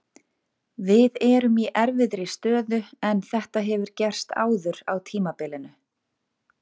Við erum í erfiðri stöðu, en þetta hefur gerst áður á tímabilinu.